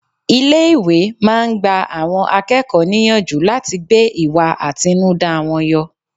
Ilé ìwé máa ń gba àwọn akẹ́kọ̀ọ́ níyànjú láti gbé ìwà àtinúdá wọn yọ.